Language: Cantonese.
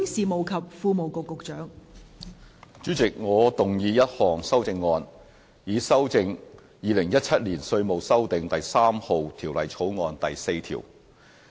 代理主席，我動議一項修正案，以修正《2017年稅務條例草案》第4條。